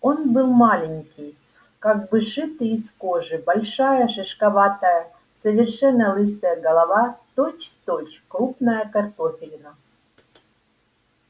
он был маленький как бы сшитый из кожи большая шишковатая совершенно лысая голова точь-в-точь крупная картофелина